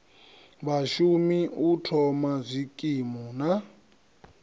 vhashumi u thoma zwikimu na